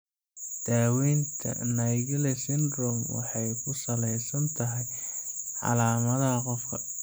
Daawaynta Naegeli syndrome waxay ku salaysan tahay calaamadaha qofka.